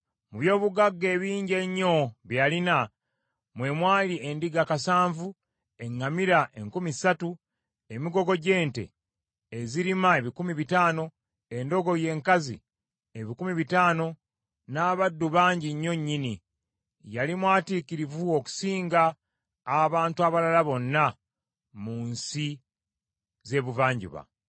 Mu byobugagga ebingi ennyo bye yalina; mwe mwali endiga kasanvu, eŋŋamira enkumi ssatu, emigogo gy’ente ezirima ebikumi bitaano, endogoyi enkazi ebikumi bitaano, n’abaddu bangi nnyo nnyini; yali mwatiikirivu okusinga abantu abalala bonna mu nsi z’ebuvanjuba.